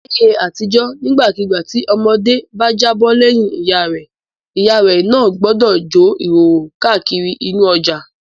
Láyé àtijọ́ nígbàkigbà tí ọmọdé bá jábọ́ lẹ́yìn ìyá rẹ̀ ìyá náà gbọdọ̀ jó ní ìhòòhò káàkiri inú ọjà.